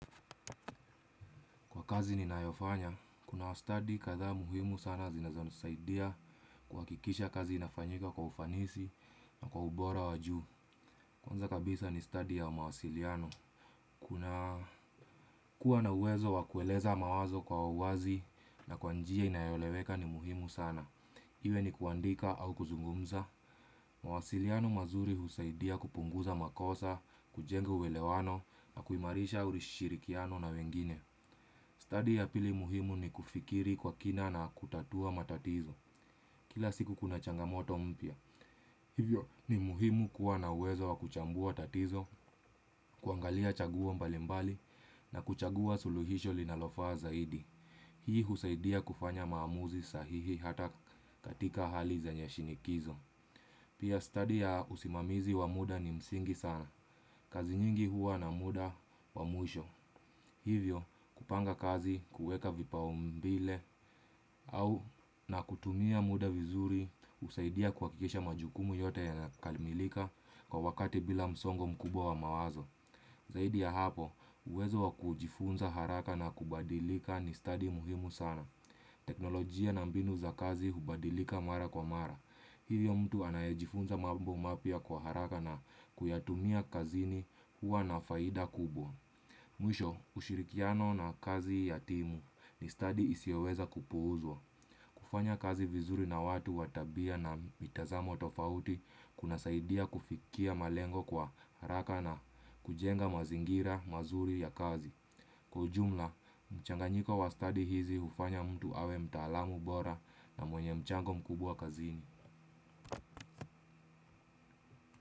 Kwa kazi ni naayofanya, kuna wastadi kathaa muhimu sana zinazonisaidia kuhakikisha kazi inafanyika kwa ufanisi na kwa ubora wajuu. Kwanza kabisa ni stadi ya mawasiliano. Kuna kuwa na uwezo wakueleza mawazo kwa uwazi na kwanjia inayoeleweka ni muhimu sana. Iwe ni kuandika au kuzungumza. Mawasiliano mazuri husaidia kupunguza makosa, kujenga uwelewano na kuimarisha shirikiano na wengine. Stadi ya pili muhimu ni kufikiri kwa kina na kutatua matatizo. Kila siku kuna changamoto mpya. Hivyo ni muhimu kuwa na uwezo wa kuchambua tatizo, kuangalia chaguo mbalimbali na kuchagua suluhisho linalofa zaidi. Hii husaidia kufanya maamuzi sahihi hata katika hali zenye shinikizo. Pia study ya usimamizi wa muda ni msingi sana. Kazi nyingi huwa na muda wa mwisho. Hivyo kupanga kazi kueka vipau mbile au na kutumia muda vizuri usaidia kuhakikisha majukumu yote ya kalimilika kwa wakati bila msongo mkubwa wa mawazo. Zaidi ya hapo, uwezo wakujifunza haraka na kubadilika ni stadi muhimu sana. Teknolijia na mbinu za kazi hubadilika mara kwa mara. Hivyo mtu anayejifunza mabo mapya kwa haraka na kuyatumia kazini huwa na faida kubwa. Mwisho ushirikiano na kazi ya timu ni stadi isiyoweza kupuuzwa kufanya kazi vizuri na watu wa tabia na mitazamo tofauti kunasaidia kufikia malengo kwa haraka na kujenga mazingira mazuri ya kazi. Kwa ujumla, mchanganyiko wa study hizi ufanya mtu awe mtaalamu bora na mwenye mchango mkubwa kazini.